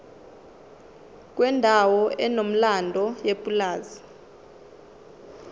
kwendawo enomlando yepulazi